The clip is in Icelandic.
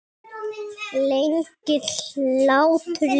Lengir hlátur lífið?